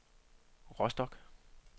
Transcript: Rostock